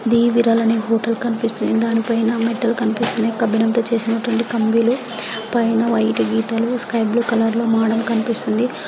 the viral అనే hotel కనిపిస్తుంది దాని పైన మెటల్ కనిపిస్తునాయ్ కబిలం తో చేసినట్టువంటి ఉన్నాయి కంబీలు పైన వైట్ గీతాలు స్కై బ్లూ కలర్ లో మోడల్ కనిపిస్తుంది --